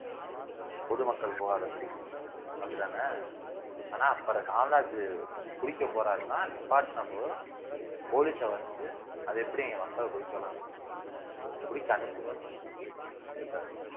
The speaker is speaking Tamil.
பொதுமக்கள் போகாதபடி அப்படித்தானே ஆனா அப்புறம் காமராஜர் குடிக்க போறாருன்னா நிப்பாட்டின போதும் police அ வந்து அது எப்படி நீங்க மக்களை சொல்லலாம் குடிக்க அனுப்புங்கன்னு சொல்லி அனுப்பிட்டாரு